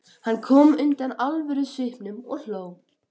Hann kom undan alvörusvipnum og hló.